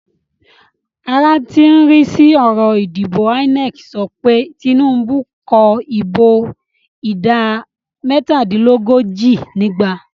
Ara tí ń rí sí ọ̀rọ̀ ìdìbò INEC sọ pé Tinubu kó ìbò ìdá mẹ́tàdínlógójì nígbà